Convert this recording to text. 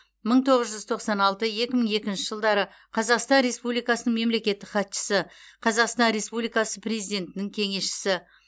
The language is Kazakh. мың тоғыз жүз тоқсан алты екі мың екінші жылдары қазақстан республикасының мемлекеттік хатшысы қазақстан республикасы президентінің кеңесшісі